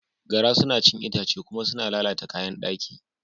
Gara suna cin itace kuma suna lalata kayan daki.